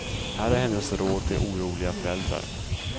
Här är hennes råd till oroliga föräldrar.